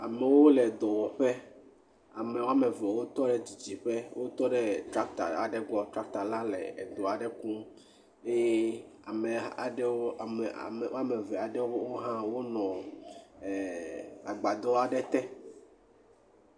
Amewo le dɔwɔƒe, ame woameve wotɔ ɖe didi ƒe wotɔ ɖe tractor aɖe gbɔ, tractor la le edɔ aɖe kum eye ame eve aɖewo hã wonɔ agbadɔ aɖe te.